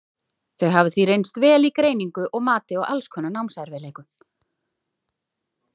þau hafa því reynst vel í greiningu og mati á alls konar námserfiðleikum